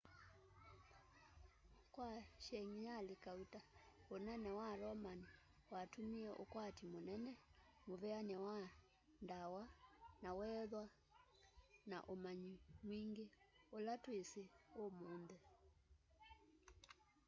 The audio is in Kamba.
kwa sengyali kauta unene wa roman watumie ukwati munene muveani wa ndawa na weethwa na umanyi mwingi ula twisi umunthi